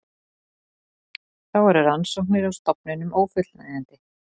Þá eru rannsóknir á stofninum ófullnægjandi